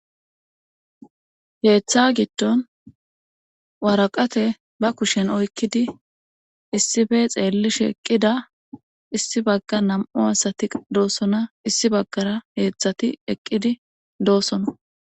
Keetha giddon waraqate ba kushen oykkidi issipe xeellishe eqqida issi bagga nam7u asati doosona issi baggara heedzdzati eqqidi doosona.